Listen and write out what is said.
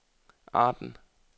Arden